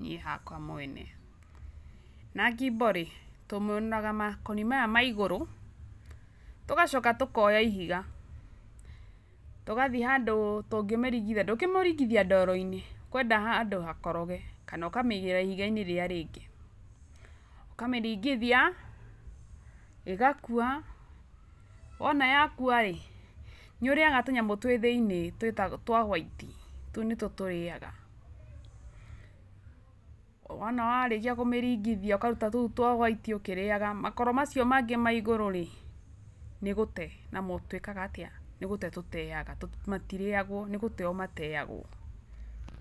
niĩ hakwa mwene, na ngimbo rĩ tũmĩũnũraga makoni maya maigũrũ tũgacoka tũkoya ihiga tũgathiĩ handũ tũngĩmĩringithia ndũngĩmĩringithia ndoro-inĩ ũkwenda handũ hakoroge, kana ũkamĩigĩrĩra ihiga-inĩ rĩrĩa rĩngĩ ũkamĩringithia ĩgakũa, wona yakũa rĩ ,nĩ ũrĩaga tũnyamũ twĩ thĩinĩ twa hwaiti tũu nĩ tũo tũrĩaga, wona warĩkĩa kũmĩrigithia ũkarũta tũu twa hwati ũkĩrĩaga makoro macio mangĩ ma igũrũ rĩ nĩgũte namo tũteaga, matirĩagwo nĩgũteo mateaga.